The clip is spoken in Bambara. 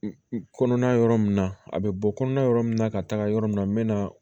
Kɔnɔna yɔrɔ min na a bɛ bɔ kɔnɔna yɔrɔ min na ka taga yɔrɔ min na n bɛ na